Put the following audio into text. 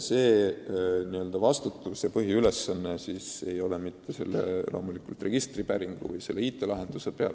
Selle töö põhiülesanne ei ole loomulikult mitte selle IT-lahenduse tagamine.